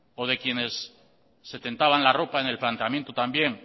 o de quienes se tentaban la ropa en el planteamiento también